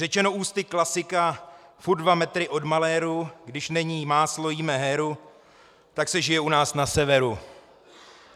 Řečeno ústy klasika, furt dva metry od maléru, když není máslo, jíme heru, tak se žije u nás na severu.